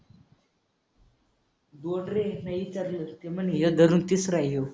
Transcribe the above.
दोन रे. नाही विचारलं ते म्हणे हे धरून तिसरा आहे ह्यो.